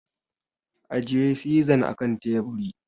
Ajiye fizan a kan teburi!